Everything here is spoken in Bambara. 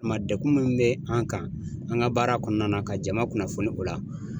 O kuma dekun min bɛ an kan an ka baara kɔnɔna na, ka jama kunnafoni o la.